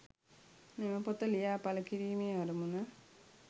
මෙම පොත ලියා පල කිරීමේ අරමුණ